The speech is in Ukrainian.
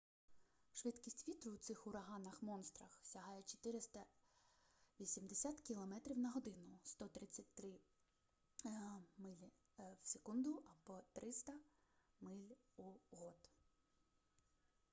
швидкість вітру у цих ураганах-монстрах сягає 480 км/год 133 м/с; 300 миль/год